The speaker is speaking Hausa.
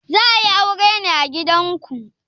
Za a yi aure ne a gidanku?